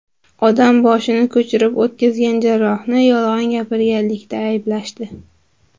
Odam boshini ko‘chirib o‘tkazgan jarrohni yolg‘on gapirganlikda ayblashdi.